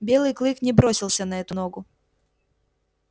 белый клык не бросился на эту ногу